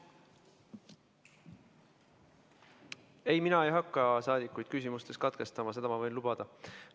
Ei, mina ei hakka rahvasaadikute küsimusi katkestama, seda ma võin lubada.